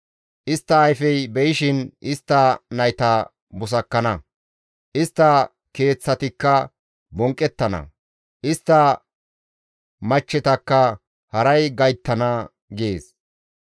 Istta ayfey be7ishin istta nayta busakkana; istta keeththatikka bonqqettana; istta machchetakka haray gayttana» gees.